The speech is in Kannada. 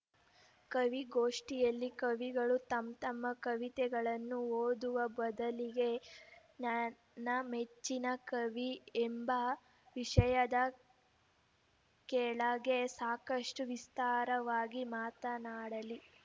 ಕವಿಗೋಷ್ಠಿಯಲ್ಲಿ ಕವಿಗಳು ತಂತಮ್ಮ ಕವಿತೆಗಳನ್ನು ಓದುವ ಬದಲಿಗೆ ನನ್ನ ಮೆಚ್ಚಿನ ಕವಿ ಎಂಬ ವಿಷಯದ ಕೆಳಗೆ ಸಾಕಷ್ಟುವಿಸ್ತಾರವಾಗಿ ಮಾತನಾಡಲಿ